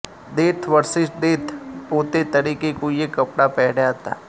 death versus death પોતે તરીકે કોઈએ કપડાં પહેર્યા હતા